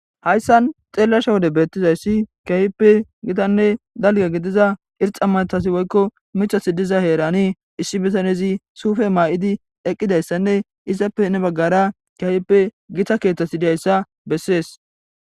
Haysan xelishe wode betizaysi kehipe gitane dalga gidiza irxa matazi woyko mithazi diza herani issi bitanezi sufe ma'idi eqidaysane izappe heni bagara kehipe gita kethati de'iyaysa beses.